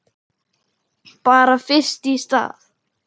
Bara fyrst í stað.